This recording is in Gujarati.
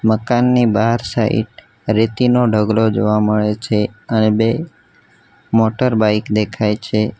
મકાનની બાહર સાઇડ રેતી નો ઢગલો જોવા મળે છે અને બે મોટર બાઈક દેખાય છે.